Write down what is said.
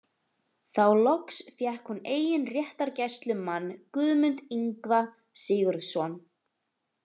Þá loks fékk hún eigin réttargæslumann, Guðmund Ingva Sigurðsson.